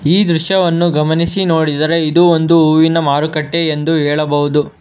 ಈ ದೃಶ್ಯವನ್ನು ಗಮನಿಸಿ ನೋಡಿದರೆ ಇದು ಒಂದು ಹೂವಿನ ಮಾರುಕಟ್ಟೆ ಎಂದು ಹೇಳಬಹುದು.